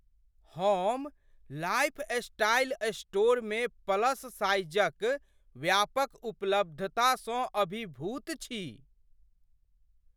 हम लाइफस्टाइल स्टोरमे प्लस साइजक व्यापक उपलब्धतासँ अभिभूत छी।